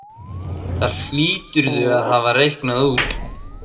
Það hlýturðu að hafa reiknað út.